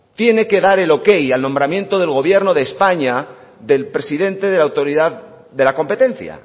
tiene que dar el ok al nombramiento del gobierno de españa del presidente de la autoridad de la competencia